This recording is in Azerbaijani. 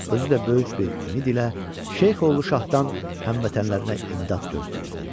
Özü də böyük bir ümid ilə Şeyx oğlu Şahdan həmvətənlərinə imdad gözləyirdi.